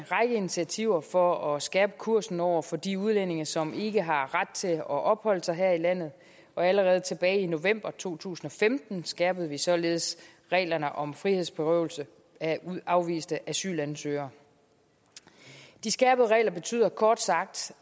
initiativer for at skærpe kursen over for de udlændinge som ikke har ret til at opholde sig her i landet og allerede tilbage i november to tusind og femten skærpede vi således reglerne om frihedsberøvelse af afviste asylansøgere de skærpede regler betyder kort sagt